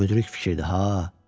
Müdrik fikirdir ha.